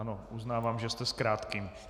Ano, uznávám, že jste s krátkým.